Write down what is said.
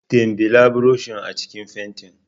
dimbila burushin a cikin fentin.